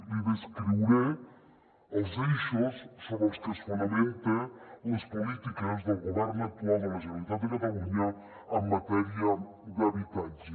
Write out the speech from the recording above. li descriuré els eixos sobre els que es fonamenten les polítiques del govern actual de la generalitat de catalunya en matèria d’habitatge